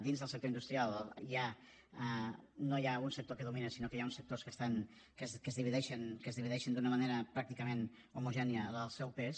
dins del sector industrial no hi ha un sector que domina sinó que hi ha uns sectors que es divideixen d’una manera pràcticament homogènia el seu pes